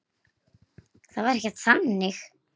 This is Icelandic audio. Það var ekkert þannig.